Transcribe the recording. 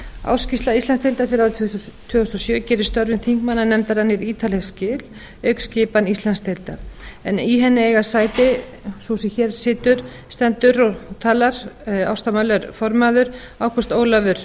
ársskýrsla íslandsdeildar fyrir árið tvö þúsund og sjö gerir störfum þingmannanefndar mjög ítarleg skil auk skipan íslandsdeildar en í henni eiga sæti sú sem hér stendur og talar ásta möller formaður ágúst ólafur